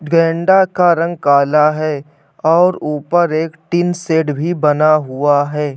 गेंडा का रंग काला है और ऊपर एक टिन शेड भी बना हुआ है।